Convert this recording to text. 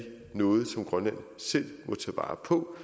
noget som grønland selv må tage vare på